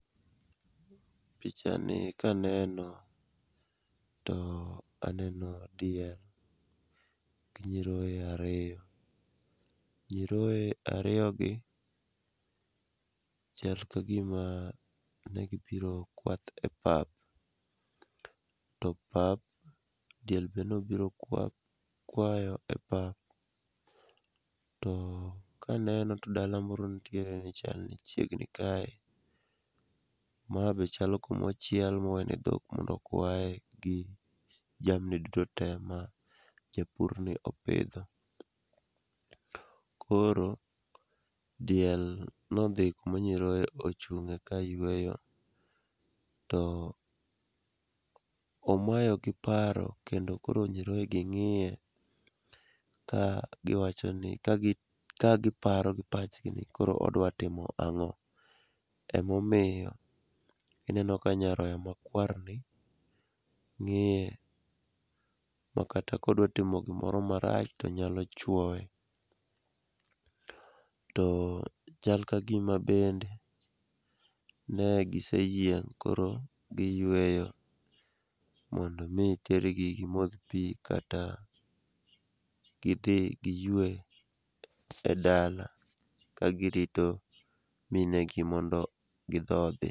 Pichani kaneno to aneno diel, gi nyiroye ariyo, nyiroye ariyogi chal ka gima negi biro kwath epap, to pap ,diel be nobiro kwayo e pap, to kaneno to dala moro nitie, chalni chiegni kae, ma be chalo kumochiel mowene dhok mondo okwaye gi jamni duto te ma japurni opidho. koro diel nodhi kuma nyiroye ochung'e kayweyo, to omayogi paro kendo koro nyiroyegi ng'iye ka giparo gi pachgi ni koro odwa timo ang'o, emomiyo ineno ka nyaroya makwarni ng'iye makata kodwa timo gimoro marach, tonyalo chwoye, to chal ka gima bende, ne giseyieng' koro giyweyo mondo omi otergi gimodh pi kata gidhi giywe e dala kagirito minegi mondo gidhodhi.